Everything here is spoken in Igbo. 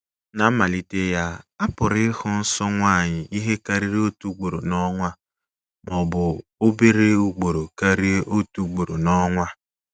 Ná mmalite ya, a pụrụ ịhụ nsọ nwanyị ihe karịrị otu ugboro n’ọnwa, ma ọ bụ obere ugboro karịa otu ugboro n’ọnwa.